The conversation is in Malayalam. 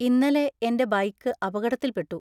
ഇന്നലെ എന്‍റെ ബൈക്ക് അപകടത്തിൽ പെട്ടു.